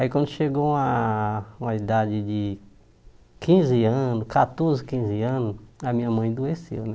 Aí, quando chegou a uma uma idade de quinze anos, catorze, quinze anos, a minha mãe adoeceu, né?